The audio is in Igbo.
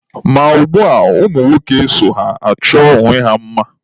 Ma ugbua, ụmụ nwoke so achọ onwe ha mma